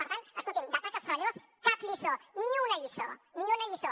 per tant escolti’m d’atac als treballadors cap lliçó ni una lliçó ni una lliçó